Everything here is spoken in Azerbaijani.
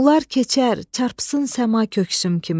Bunlar keçər, çarpsın səma köksüm kimi.